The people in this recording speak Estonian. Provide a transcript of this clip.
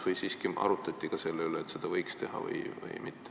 Või siiski arutati ka selle üle, et seda võiks ikkagi teha?